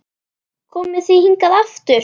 Komið þið hingað aftur!